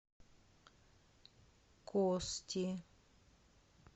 кости